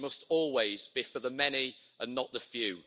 They must always be for the many, and not the few.